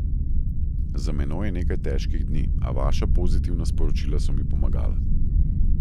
Za menoj je nekaj težkih dni, a vaša pozitivna sporočila so mi pomagala.